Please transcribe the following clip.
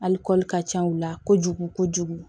Ali ka ca u la kojugu kojugu